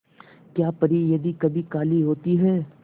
क्या परी यदि कभी काली होती है